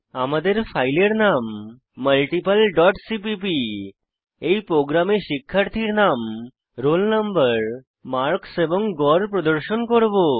আমাদের ফাইলের নাম মাল্টিপল ডট সিপিপি এই প্রোগ্রামে শিক্ষার্থীর নাম রোল নম্বর মার্কস এবং গড় প্রদর্শন করব